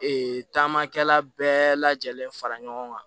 Ee taamakɛla bɛɛ lajɛlen fara ɲɔgɔn kan